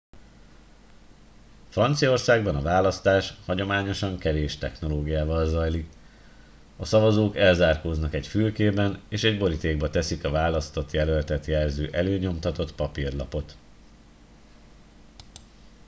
franciaországban a választás hagyományosan kevés technológiával zajlik a szavazók elzárkóznak egy fülkében és egy borítékba teszik a választott jelöltet jelző előnyomtatott papírlapot